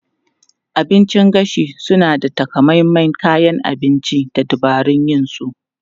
Abincin gashi suna da takamaiman kayan abinci da dabarun yin su.